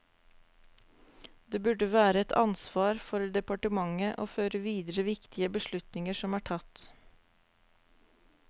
Det burde være et ansvar for departementet å føre videre viktige beslutninger som er tatt.